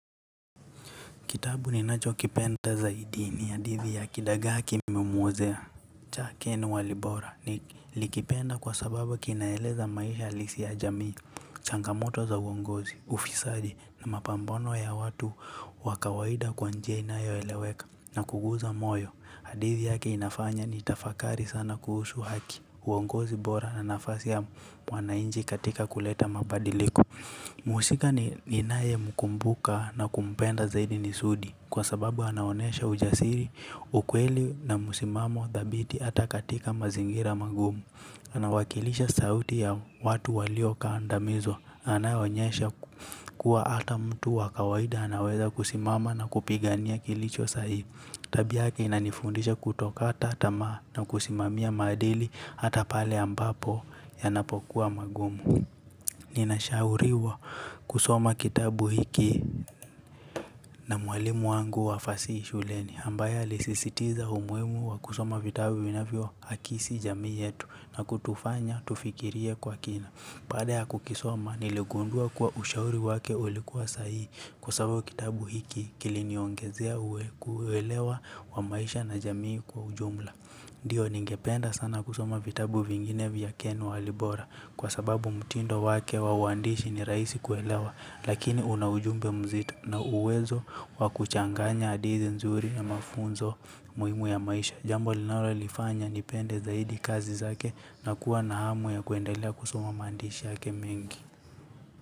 Kitabu ninachokipenda zaidi ni hadithi ya kidagaa kimemwozea cha Ken Walibora nilikipenda kwa sababu kinaeleza maisha halisi ya jamii, changamoto za uongozi, ufisadi na mapambano ya watu wa kawaida kwa njia inayoeleweka na kuguza moyo. Hadithi yake inafanya nitafakari sana kuhusu haki, uongozi bora na nafasi ya mwananchi katika kuleta mabadiliko. Mhusika ninayemkumbuka na kumpenda zaidi ni Sudi kwa sababu anaonesha ujasiri, ukweli na msimamo dhabiti hata katika mazingira magumu. Anawakilisha sauti ya watu waliokandamizwa. Anayeonyesha kuwa hata mtu wa kawaida anaweza kusimama na kupigania kilicho sahihi. Tabia yake inanifundisha kutokata tamaa na kusimamia maadili hata pale ambapo yanapokuwa magumu. Ninashauriwa kusoma kitabu hiki na mwalimu wangu wa fasihi shuleni ambaye alisisitiza umuhimu wa kusoma vitabu vinavyoakisi jamii yetu na kutufanya tufikirie kwa kina. Baada ya kukisoma niligundua kwa ushauri wake ulikuwa sahihi. Kwa sababu kitabu hiki kiliniongezea uwelewa wa maisha na jamii kwa ujumla. Ndiyo, ningependa sana kusoma vitabu vingine vya Ken Walibora kwa sababu mtindo wake wa uandishi ni rahisi kuelewa lakini una ujumbe mzito na uwezo wa kuchanganya hadithi nzuri na mafunzo. Umuhimu ya maisha jambo linalolifanya nipende zaidi kazi zake na kuwa na hamu ya kuendelea kusoma maandishi yake mengi.